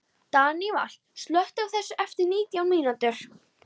Daníval, slökktu á þessu eftir nítján mínútur.